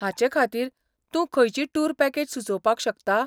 हाचे खातीर तूं खंयची टूर पॅकेज सुचोवपाक शकता?